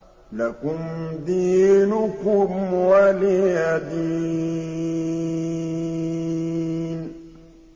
لَكُمْ دِينُكُمْ وَلِيَ دِينِ